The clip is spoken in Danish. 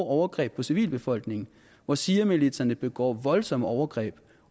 overgreb på civilbefolkningen hvor shiamilitserne begår voldsomme overgreb